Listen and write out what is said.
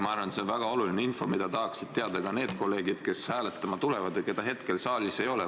Ma arvan, et see on väga oluline info, mida tahaksid teada ka need kolleegid, kes hääletama tulevad ja keda hetkel saalis ei ole.